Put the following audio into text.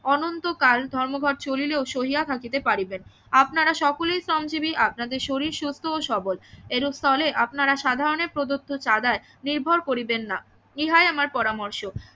অনন্তকাল ধর্মঘট চলিলেও সহিয়া থাকিতে পারিবেন আপনারা সকলেই শ্রমজীবি আপনাদের শরীর সুস্থ ও সবল এরূপ স্থলে আপনারা সাধারণ প্রদত্ত চাঁদায় নির্ভর করিবেন না ইহাই আমার পরামর্শ